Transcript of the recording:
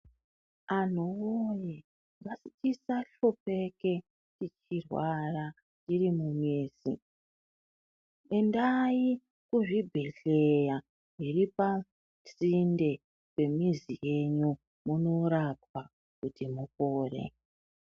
Anhuwoyee ngatisahlupike tichirwara tiri mumizi endai kuzvibhedhlera zviri pasinde nemizi yenyu munorapwa kuti mupore.